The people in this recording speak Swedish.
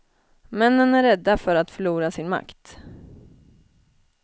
Männen är rädda för att förlora sin makt.